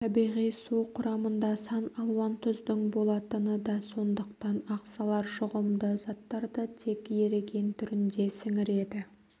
табиғи су құрамында сан алуан тұздың болатыны да сондықтан ағзалар жұғымды заттарды тек еріген түрінде сіңіреді